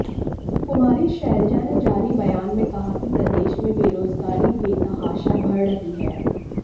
कुमारी शैलजा ने जारी बयान में कहा कि प्रदेश में बेरोजगारी बेतहाशा बढ़ रही है